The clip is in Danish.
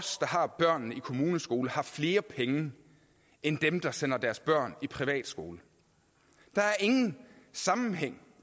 har børnene i kommuneskole har flere penge end dem der sender deres børn i privatskole der er ingen sammenhæng